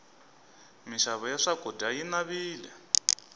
mixavo ya swakudya yi navile